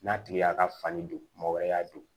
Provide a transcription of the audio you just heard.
N'a tigi y'a ka fani don maa wɛrɛ y'a don